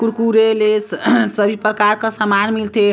Kurkure Lay's सभी प्रकार का सामान मिल थे।